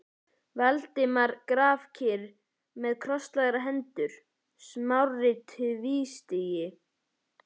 Valdimar grafkyrr með krosslagðar hendur, Smári tvístíg